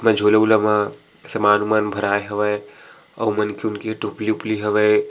मन झोला उला म समान उमान भराय हवय अउ ओमन कुन्कि टोकरी उपलि हवय।